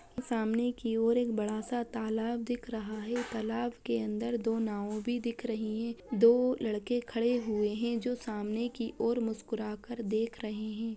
सामने की और एक बड़ा सा तालाब दिख रहा है | तालाब के अंदर दो नाव भी दिख रहें हैं | दो लड़के खड़े हुए हैं जो सामने की और मुस्कुरा कर देख रहे हैं ।